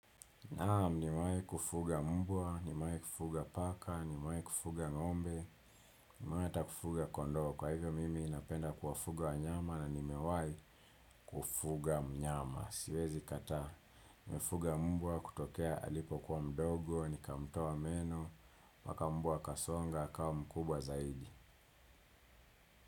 Naam, nimawai kufuga mbwa, nimawai kufuga paka, nimawai kufuga ngombe, nimawai hata kufuga kondoo. Kwa hivyo mimi napenda kufuga wanyama na nimewai kufuga mnyama. Siwezi kataa, nimefuga mbwa kutokea alipo kuwa mdogo, nikamtoa meno, mpaka mbwa akasonga, akawa mkubwa zaidi.